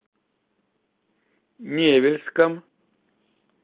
невельском